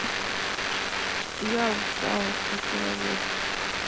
я устала после работы